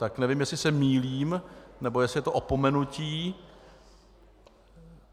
Tak nevím, jestli se mýlím, nebo jestli je to opomenutí.